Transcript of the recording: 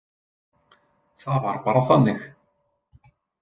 Það var bara þannig.